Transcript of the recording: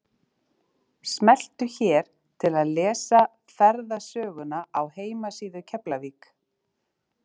Smelltu hér til að lesa ferðasöguna á heimasíðu Keflavík.